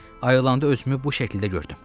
Ayılanda özümü bu şəkildə gördüm.